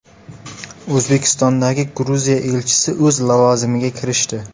O‘zbekistondagi Gruziya elchisi o‘z lavozimiga kirishdi.